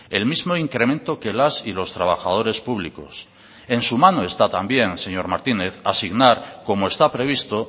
el mismo incremento que las y los trabajadores públicos en su mano está también señor martínez asignar como está previsto